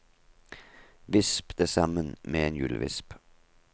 Visp det sammen med en hjulvisp.